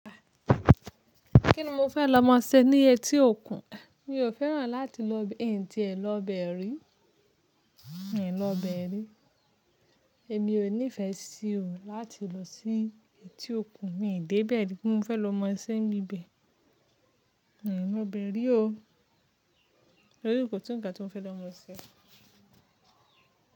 Kíni mo fẹ́ lọ mọ sé ní etí òkun? Mi ò fẹ́ràn láti lọ bẹ, n ti é lọ bẹ̀ rí. Ẹ̀yin lọ bẹ̀ rí. Èmi ò nífẹsí o láti lọ sí etí òkun, mí n dé bẹ́ẹ̀ rí kí n mo fẹ́ lọ mọ sẹ n bíbẹ̀. N lọ bẹ̀ rí o. Torí kò sí nǹkan tí mo fẹ́ lọ mọ ṣe.